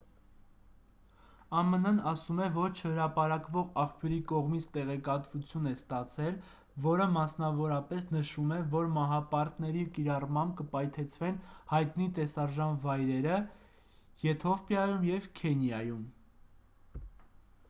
ամն-ն ասում է որ չհրապարակվող աղբյուրի կողմից տեղեկատվություն է ստացել որը մասնավորապես նշում է որ մահապարտների կիրառմամբ կպայթեցվեն հայտնի տեսարժան վայրերը եթովպիայում և քենիայում